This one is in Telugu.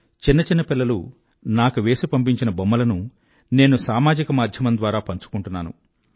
చిన్న చిన్న పిల్లలు నాకు వేసి పంపించిన బొమ్మలను నేను సామాజిక మాధ్యమం ద్వారా పంచుకుంటున్నాను